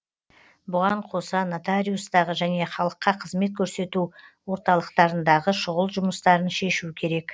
бұған қоса нотариустағы және халыққа қызмет көрсету орталықтарындағы шұғыл жұмыстарын шешу керек